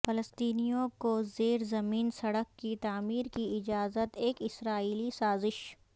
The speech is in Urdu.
فلسطینیوں کو زیر زمین سڑک کی تعمیر کی اجازت ایک اسرائیلی سازش